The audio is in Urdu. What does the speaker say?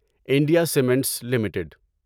India Cements limited